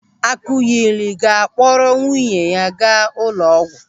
Akụnyịlị ga-akpọrọ nwunye ya gaa ụlọ ọgwụ.